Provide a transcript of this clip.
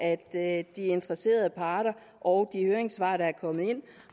at de interesserede parter og de høringssvar der er kommet ind